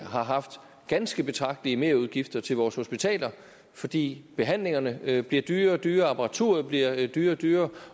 har haft ganske betragtelige merudgifter til vores hospitaler fordi behandlingerne bliver dyrere og dyrere apparaturet bliver dyrere og dyrere